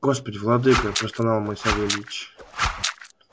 господи владыка простонал мой савельич